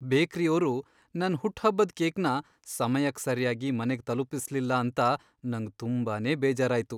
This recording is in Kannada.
ಬೇಕ್ರಿಯೋರು ನನ್ ಹುಟ್ಹಬ್ಬದ್ ಕೇಕ್ನ ಸಮಯಕ್ ಸರ್ಯಾಗಿ ಮನೆಗ್ ತಲುಪಿಸ್ಲಿಲ್ಲ ಅಂತ ನಂಗ್ ತುಂಬಾನೇ ಬೇಜಾರಾಯ್ತು.